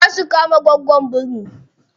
Za su kama goggon biri.